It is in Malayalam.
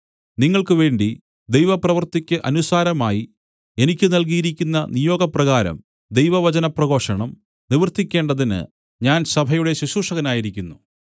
നിങ്ങൾക്ക് വേണ്ടി ദൈവപ്രവർത്തിക്ക് അനുസാരമായി എനിക്ക് നല്കിയിരിക്കുന്ന നിയോഗപ്രകാരം ദൈവവചനപ്രഘോഷണം നിവർത്തിക്കേണ്ടതിന് ഞാൻ സഭയുടെ ശുശ്രൂഷകനായിരിക്കുന്നു